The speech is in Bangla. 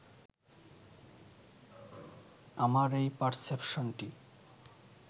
আমার এই পারসেপশনটি